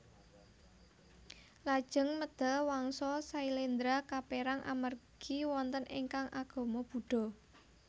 Lajeng medal Wangsa Syailendra kapérang amargi wonten ingkang agama Buddha